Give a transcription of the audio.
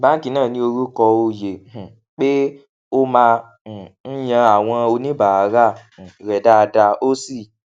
báńkì náà ní orúkọ oyè um pé ó máa um ń yan àwọn oníbàárà um rẹ dáadáa ó sì